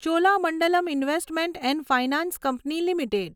Cholamandalam investment and finance company limited